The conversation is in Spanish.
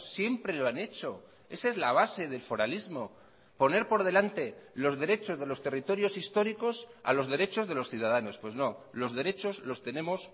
siempre lo han hecho esa es la base del foralismo poner por delante los derechos de los territorios históricos a los derechos de los ciudadanos pues no los derechos los tenemos